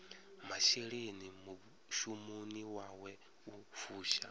masheleni mushumoni wawe u fusha